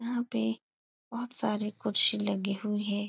यहाँ पे बहुत सारी कुर्सी लगी हुई हैं।